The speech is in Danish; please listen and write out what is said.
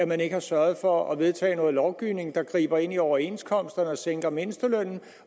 man ikke har sørget for at vedtage noget lovgivning der griber ind i overenskomsterne og sænker mindstelønnen